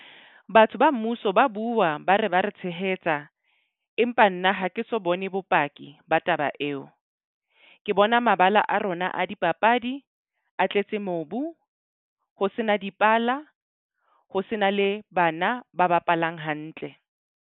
Batho ba mmuso ba bua ba re ba re tshehetsa. Empa nna ha ke so bone bopaki ba taba eo. Ke bona mabala a rona a dipapadi a tletse mobu, ho sena dipala ho se na le bana ba bapalang hantle.